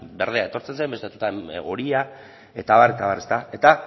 berdea etortzen zen beste batzuetan horia eta abar eta abar eta